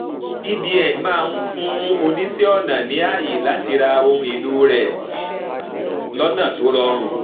cbn máa fún oníṣẹ ọnà ní àyè láti ra ohun èlò rẹ lọnà tó rọrùn